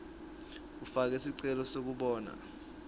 ufake sicelo sekubonana